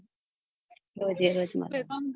રોજ રોજ એ રોજ મલોઅના